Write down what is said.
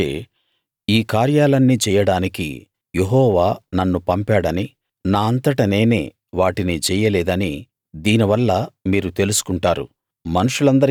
అప్పుడు మోషే ఈ కార్యాలన్నీ చెయ్యడానికి యెహోవా నన్ను పంపాడనీ నా అంతట నేనే వాటిని చెయ్యలేదనీ దీనివల్ల మీరు తెలుసుకుంటారు